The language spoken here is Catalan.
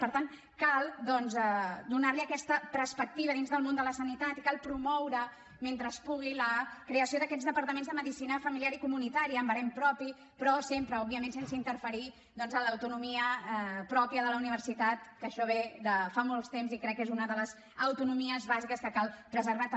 per tant cal doncs donar li aquesta perspectiva dins del món de la sanitat i cal promoure mentre es pugui la creació d’aquests departaments de medicina familiar i comunitària amb barem propi però sempre òbviament sense interferir doncs en l’autonomia mateixa de la universitat que això ve de fa molt temps i crec que és una de les autonomies bàsiques que cal preservar també